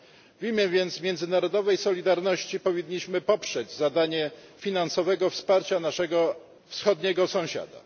W imię więc międzynarodowej solidarności powinniśmy poprzeć zadanie finansowego wsparcia naszego wschodniego sąsiada.